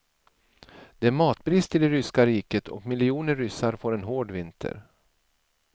Det är matbrist i det ryska riket, och miljoner ryssar får en hård vinter.